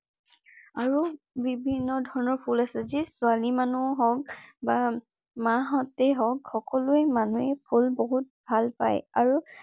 আৰু বিভিন্ন ধৰণৰ ফুল আছে যি ছোৱালী মানুহক বা‌‌ মা হতে হওঁক সকলো মানুহে ফুল বহুত ভাল পায় । আৰু